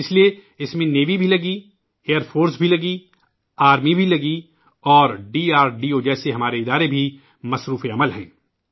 اس لئے ، اس میں بحریہ بھی لگی ہوئی ہے ، ایئرفورس بھی لگی ہوئی ہے ، آرمی بھی اور ڈی آر ڈی او جیسی ہماری تنظیمیں بھی جٹی ہیں